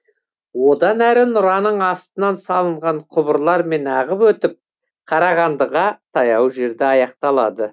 одан әрі нұраның астынан салынған құбырлармен ағып өтіп қарағандыға таяу жерде аяқталады